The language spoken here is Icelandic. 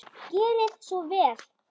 Gerið svo vel!